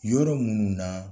Yɔrɔ minnu na